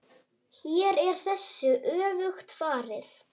Hér er þessu öfugt farið.